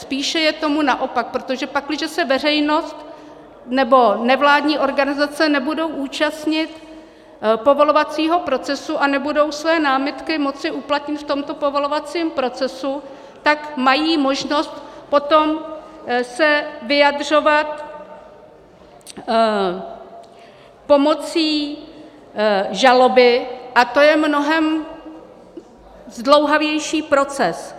Spíše je tomu naopak, protože pakliže se veřejnost nebo nevládní organizace nebudou účastnit povolovacího procesu a nebudou své námitky moci uplatnit v tomto povolovacím procesu, tak mají možnost se potom vyjadřovat pomocí žaloby a to je mnohem zdlouhavější proces.